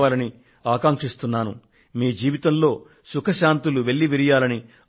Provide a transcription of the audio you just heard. ఈ దీపావళి ని మన జవానులకు మరొక్క సారి దేశ అంకితం చేద్దాము